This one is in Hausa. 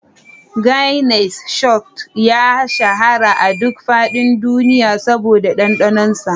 Guinness Stout ya shahara a duk faɗin duniya saboda ɗanɗanonsa.